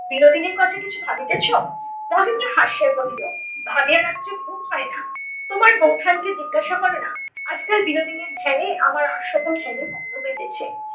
বিনোদিনীর কথা কিছু ভাবিতেছ? মহেন্দ্র হাসিয়া কহিল ভাবিয়া রাত্রে ঘুম হয় না। তোমার বৌঠান কে জিজ্ঞাসা করো না আজকাল বিনোদিনীর ধ্যান এ আমার আর সকল ধ্যানই ভগ্ন হইতেছে